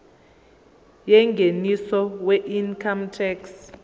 yengeniso weincome tax